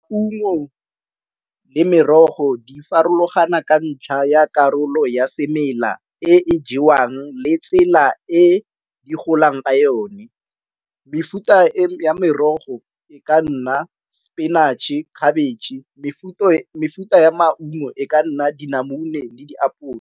le merogo di farologana ka ntlha ya karolo ya semela e e jewang le tsela e di golang ka yone. Mefuta ya merogo e ka nna spinach-e khabitšhe, mefuta ya maungo e ka nna dinamune le diapole.